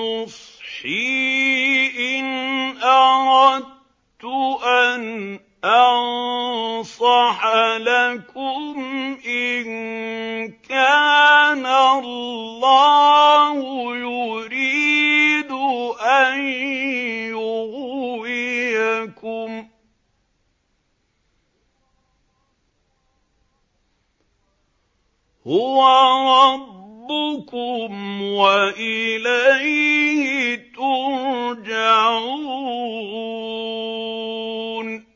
نُصْحِي إِنْ أَرَدتُّ أَنْ أَنصَحَ لَكُمْ إِن كَانَ اللَّهُ يُرِيدُ أَن يُغْوِيَكُمْ ۚ هُوَ رَبُّكُمْ وَإِلَيْهِ تُرْجَعُونَ